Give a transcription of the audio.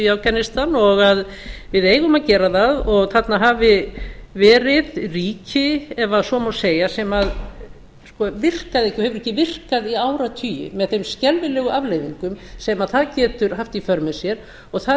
í afganistan og að við eigum að gera það og þarna hafi verið ríki ef svo má segja sem virkaði ekki og hefur ekki virkað í áratugi með þeim skelfilegu afleiðingum sem það getur haft í för með sér og það er